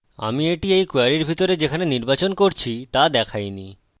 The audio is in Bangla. আমি এটি এই কোয়েরীর ভিতরে যেখানে নির্বাচন করছি তা দেখাইনি